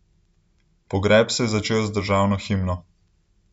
Pogreb se je začel z državno himno.